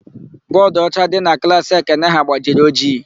Bọọdụọcha dị na klaasị Ekene ha gbajiri ojii.